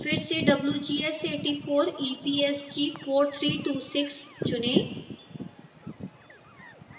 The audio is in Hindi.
फिर से wgs 84 epsg 4326 चुनें